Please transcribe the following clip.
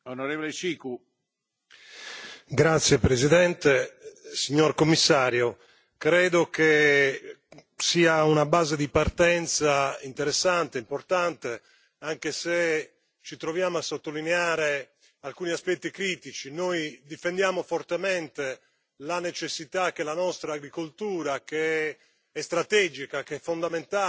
Signor Presidente, onorevoli colleghi, signor Commissario, credo che sia una base di partenza interessante, importante, anche se ci troviamo a sottolineare alcuni aspetti critici. Noi difendiamo fortemente la necessità che la nostra agricoltura che è strategica, che è fondamentale